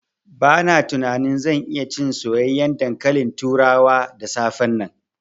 Bana jin zan iya cin soyayyen dankalin turawa da safe nan.